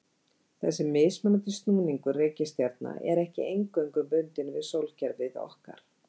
Þessi mismunandi snúningur reikistjarna er ekki eingöngu bundinn við sólkerfið okkar.